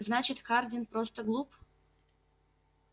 значит хардин просто глуп